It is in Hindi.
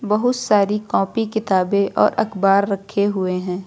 बहुत सारी कॉपी किताबें और अखबार रखे हुए हैं।